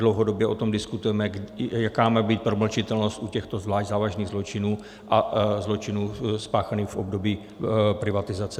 Dlouhodobě o tom diskutujeme, jaká má být promlčitelnost u těchto zvlášť závažných zločinů a zločinů spáchaných v období privatizace.